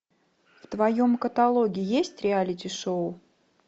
в твоем каталоге есть реалити шоу